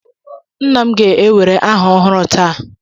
Nna m ga-ewere aha ọhụrụ taa.